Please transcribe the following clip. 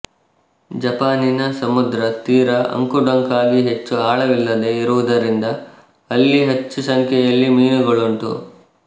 ಜಪಾನಿನ ಸಮುದ್ರ ತೀರ ಅಂಕುಡೊಂಕಾಗಿ ಹೆಚ್ಚು ಆಳವಿಲ್ಲದೆ ಇರುವುದರಿಂದ ಅಲ್ಲಿ ಹೆಚ್ಚು ಸಂಖ್ಯೆಯಲ್ಲಿ ಮೀನುಗಳುಂಟು